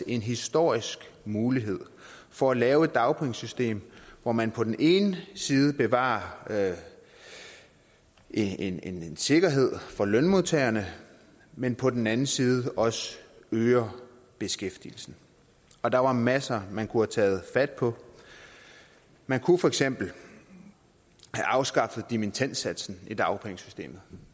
en historisk mulighed for at lave et dagpengesystem hvor man på den ene side bevarer en en sikkerhed for lønmodtagerne men på den anden side også øger beskæftigelsen og der var masser man kunne have taget fat på man kunne for eksempel have afskaffet dimittendsatsen i dagpengesystemet